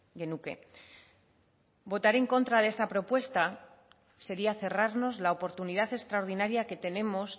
genuke votar en contra de esta propuesta sería cerrarnos la oportunidad extraordinaria que tenemos